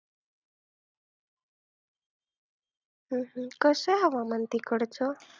हम्म कसं आहे हवामान तिकडचं?